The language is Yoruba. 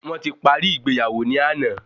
Wọn ti paríi ìgbéyàwó ni àná